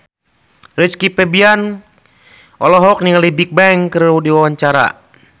Rizky Febian olohok ningali Bigbang keur diwawancara